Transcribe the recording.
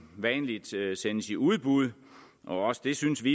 vanligt sendes i udbud og også det synes vi